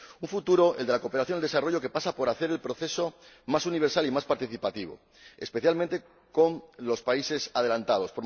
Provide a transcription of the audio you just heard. Un futuro, el de la cooperación al desarrollo, que pasa por hacer el proceso más universal y más participativo, especialmente con los países adelantados